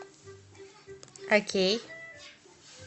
окей